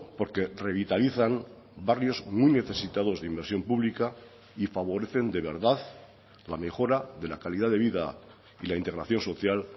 porque revitalizan barrios muy necesitados de inversión pública y favorecen de verdad la mejora de la calidad de vida y la integración social